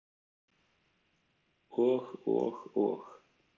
"""Og, og, og."""